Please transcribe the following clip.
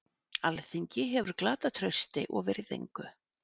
Alþingi hefur glatað trausti og virðingu